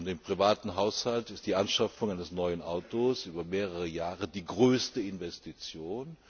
Im privaten Haushalt ist die Anschaffung eines neuen Autos über mehrere Jahre die größte Investition.